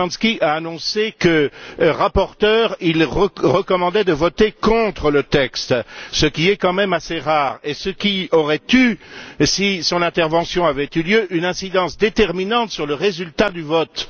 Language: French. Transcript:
Szymański a annoncé que, en sa qualité de rapporteur, il recommandait de voter contre le texte, ce qui est quand même assez rare, et ce qui aurait eu, si son intervention avait eu lieu, une incidence déterminante sur le résultat du vote.